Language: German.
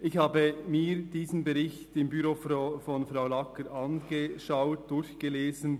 Ich habe mir diesen Bericht im Büro von Frau Sandra Lagger angeschaut, diesen durchgelesen.